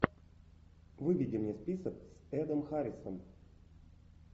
выведи мне список с эдом харрисом